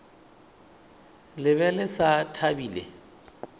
le be le sa thabile